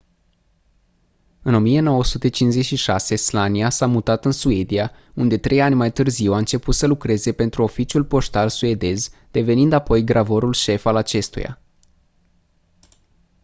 în 1956 słania s-a mutat în suedia unde trei ani mai târziu a început să lucreze pentru oficiul poștal suedez devenind apoi gravorul șef al acestuia